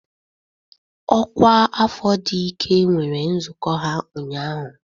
Ọkwa afọ dị ike nwere nzukọ ha ụnyahụ.